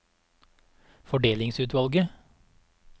fordelingsutvalget